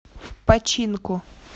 починку